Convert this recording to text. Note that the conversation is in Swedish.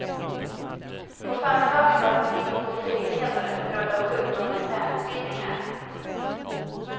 På förmiddagen var det brist på flygledare, på grund av sjukdom och internutbildningar.